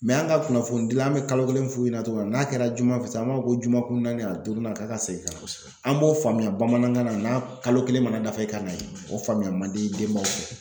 an ka kunnafoni dila an bɛ kalo kelen f'u ɲɛna cogo min na n'a kɛra juma fɛ sisan an b'a fɔ ko juma kun naani a duurunan k'a ka segin ka an b'o faamuya bamanankan na n'a kalo kelen mana dafa i ka na ye. O faamuya man di denbaw ye.